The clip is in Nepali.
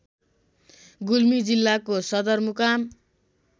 गुल्मी जिल्लाको सदरमुकाम